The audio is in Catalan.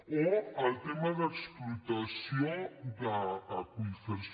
o el tema d’explotació d’aqüífers